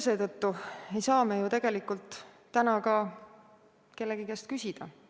Seetõttu ei saa me ju täna ka kellegi käest küsida.